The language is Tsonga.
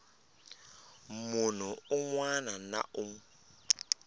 munhu un wana na un